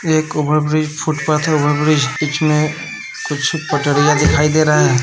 एक over bridge footpath है over bridge बीच मे कुछ पटरिया दिखाई दे रहा है।